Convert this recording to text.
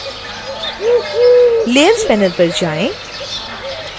layers panel पर जाएं